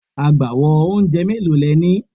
Agbawo oúnjẹ mélòó le ní?